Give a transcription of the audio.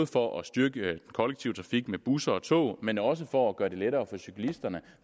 for at styrke den kollektive trafik med busser og tog men også for at gøre det lettere for cyklisterne